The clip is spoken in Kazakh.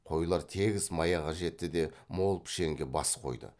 қойлар тегіс маяға жетті де мол пішенге бас қойды